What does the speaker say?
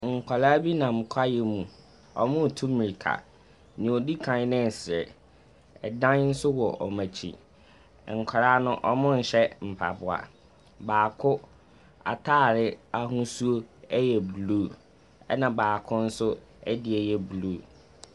Nkwadaa bi nam kwaeɛ mu. Wɔretu mmirka. Nea ɔdi kan no resere. Dan nso wɔ wɔn akyi. Nkwadaa no, wɔnhyɛ mpaboa. Baako atare ahosuo yɛ blue, ɛnna baako nso deɛ yɛ blue.